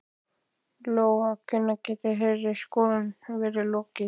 Lóa: Hvenær gæti þeirri skoðun verið lokið?